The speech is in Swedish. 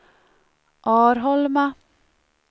Arholma